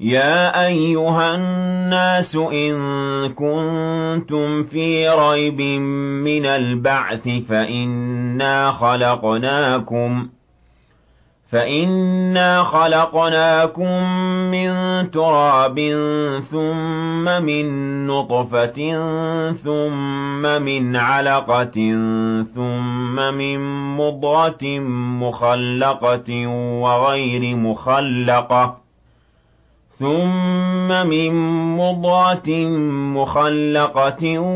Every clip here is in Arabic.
يَا أَيُّهَا النَّاسُ إِن كُنتُمْ فِي رَيْبٍ مِّنَ الْبَعْثِ فَإِنَّا خَلَقْنَاكُم مِّن تُرَابٍ ثُمَّ مِن نُّطْفَةٍ ثُمَّ مِنْ عَلَقَةٍ ثُمَّ مِن مُّضْغَةٍ مُّخَلَّقَةٍ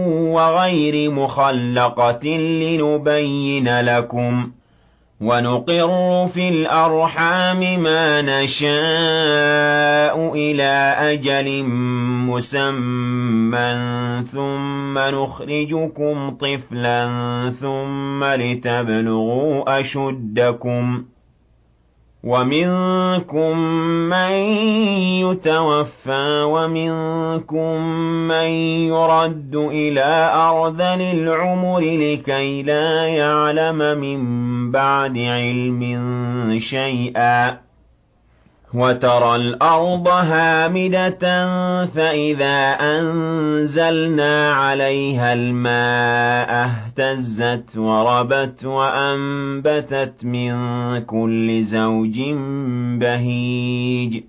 وَغَيْرِ مُخَلَّقَةٍ لِّنُبَيِّنَ لَكُمْ ۚ وَنُقِرُّ فِي الْأَرْحَامِ مَا نَشَاءُ إِلَىٰ أَجَلٍ مُّسَمًّى ثُمَّ نُخْرِجُكُمْ طِفْلًا ثُمَّ لِتَبْلُغُوا أَشُدَّكُمْ ۖ وَمِنكُم مَّن يُتَوَفَّىٰ وَمِنكُم مَّن يُرَدُّ إِلَىٰ أَرْذَلِ الْعُمُرِ لِكَيْلَا يَعْلَمَ مِن بَعْدِ عِلْمٍ شَيْئًا ۚ وَتَرَى الْأَرْضَ هَامِدَةً فَإِذَا أَنزَلْنَا عَلَيْهَا الْمَاءَ اهْتَزَّتْ وَرَبَتْ وَأَنبَتَتْ مِن كُلِّ زَوْجٍ بَهِيجٍ